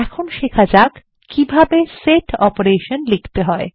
এখন শেখা যাক কিভাবে সেট অপারেশন লিখতে হয়